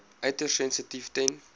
uiters sensitief ten